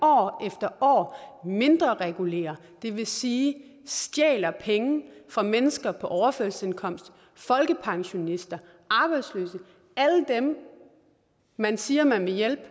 år efter år mindrereguleres det vil sige stjæles penge fra mennesker på overførselsindkomst folkepensionister arbejdsløse alle dem man siger man vil hjælpe